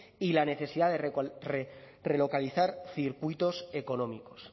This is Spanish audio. y la necesidad de relocalizar circuitos económicos